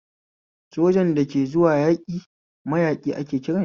Sojan da ke zuwa yaƙi mayaƙi ake kiranshi